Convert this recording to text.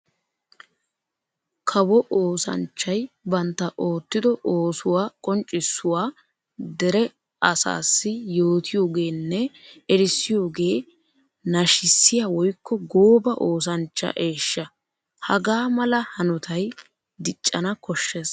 Kawo oosanchchay bantta oottiddo oosuwa qonccisuwaa dera asassi yootiyoogenne erissiyooge nashissiya woykko gooba oosanchcha eeshsha. Hagaa mala hanotay diccanna koshees.